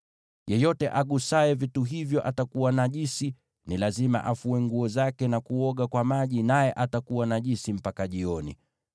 Yeyote agusaye vitu hivyo atakuwa najisi; ni lazima afue nguo zake na kuoga kwa maji, naye atakuwa najisi mpaka jioni.